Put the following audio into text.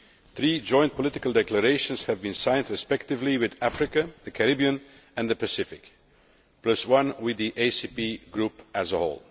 Three joint political declarations have been signed respectively with Africa, the Caribbean and the Pacific, plus one with the ACP group as a whole.